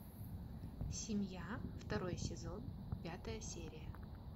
семья второй сезон пятая серия